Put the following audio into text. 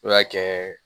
I b'a kɛ